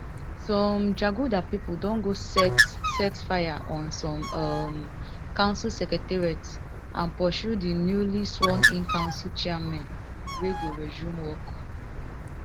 some jaguda pipo don go set set fire on some um council secretariats and pursue di newly sworn in council chairmen wey go resume work